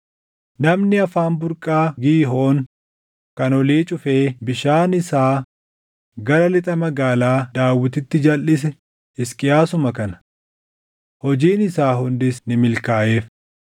Namni afaan burqaa Giihoon kan olii cufee bishaan isaa gara lixa Magaalaa Daawititti jalʼise Hisqiyaasuma kana. Hojiin isaa hundis ni milkaaʼeef.